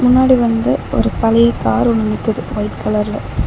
முன்னாடி வந்து ஒரு பழைய கார் ஒன்னு நிக்கிது ஒயிட் கலர்ல .